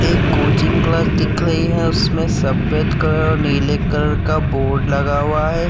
एक coaching class दिखाई है उसमें सप्पेद कलर और नीले कलर का बोर्ड लगा हुआ है।